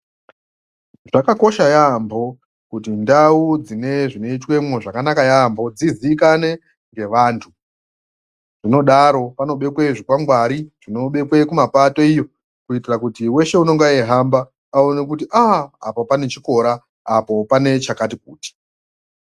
Zvakakosha yaamho kuti ndau dzinezvinoitwemo zvakanaka yaamho dzizikanwe ngevantu, zvinodaro, panobekwe zvikwangwari, zvinobekwe kumapato iyo kuitira kuti weshe unenge eihamba, aone kuti a-a apa panechikora, apo panechakati kuti.